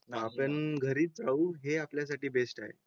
आपण घरी राहू हे आपल्यासाठी बेस्ट आहे